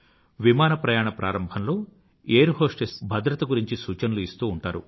విమానప్రయాణ ప్రారంభంలో air hostess భద్రత గురించి సూచనలు ఇస్తూ ఉంటారు